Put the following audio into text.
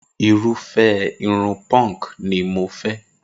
Irúfẹ́ irun punk ni mo fẹ́